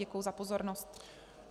Děkuji za pozornost.